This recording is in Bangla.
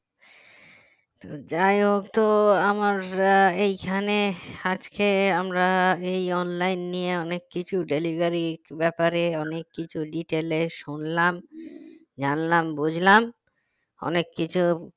যাই হোক তো আমার আহ এখানে আজকে আমরা এই online নিয়ে অনেক কিছু delivery ব্যাপারে অনেক কিছু detail এ শুনলাম জানলাম বুঝলাম অনেক কিছু